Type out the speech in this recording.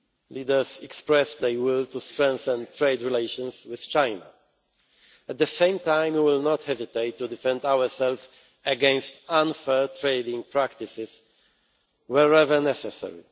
Leaders expressed their will to strengthen trade relations with China. At the same time, we will not hesitate to defend ourselves against unfair trading practices, wherever necessary.